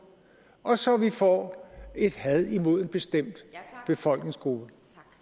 og så vi får et had imod en bestemt befolkningsgruppe